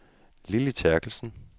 Lilly Therkelsen